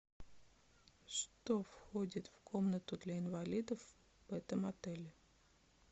что входит в комнату для инвалидов в этом отеле